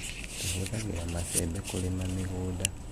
tũhũthagira macembe kũrima mĩgũnda.